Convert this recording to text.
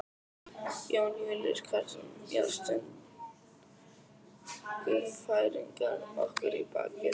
Jón Júlíus Karlsson: Já, stungu Færeyingar okkur í bakið?